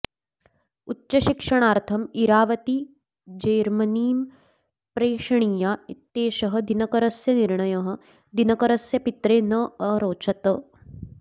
उच्चशिक्षणार्थं इरावती जेर्मनीं प्रेषणीया इत्येषः दिनकरस्य निर्णयः दिनकरस्य पित्रे न अरोचत